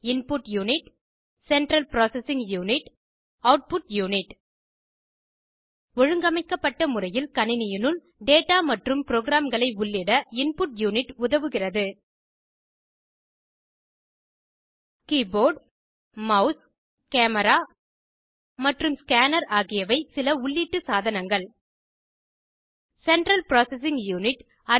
input unit central processing unit output unit ஒழுங்கமைக்கப்பட்ட முறையில் கணினியினுள் டேடா மற்றும் ப்ரோக்ராம்களை உள்ளிட இன்புட் யூனிட் உதவுகிறது கீபோர்ட் மெளஸ் கேமராமற்றும் ஸ்கேனர் ஆகியவை சில உள்ளீட்டு சாதனங்கள் ஆகும் சென்ட்ரல் ப்ராசசிங் யூனிட்